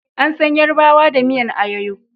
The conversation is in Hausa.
An san yarbawa da miyan ayoyo